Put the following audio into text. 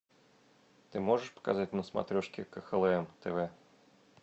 ты можешь показать на смотрешке кхлм тв